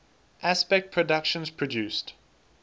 aspect productions produced